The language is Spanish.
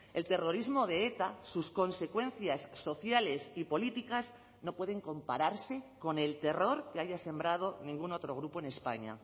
el terrorismo de eta sus consecuencias sociales y políticas no pueden compararse con el terror que haya sembrado ningún otro grupo en españa